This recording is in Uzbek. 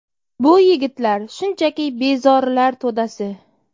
Bu yigitlar shunchaki bezorilar to‘dasi.